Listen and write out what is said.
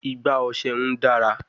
Igbá ọṣẹ n dara